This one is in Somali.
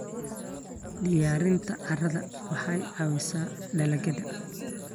Diyaarinta carrada waxay caawisaa dalagyada.